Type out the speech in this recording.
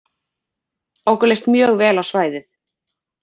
Okkur leist mjög vel á svæðið